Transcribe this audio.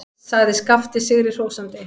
sagði Skapti sigri hrósandi.